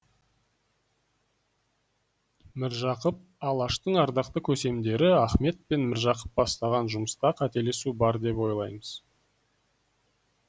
міржақып алаштың ардақты көсемдері ахмет пен міржақып бастаған жұмыста қателесу бар деп ойламаймыз